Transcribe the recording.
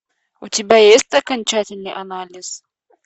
у тебя есть окончательный анализ